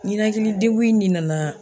Ninakilidegun in de nana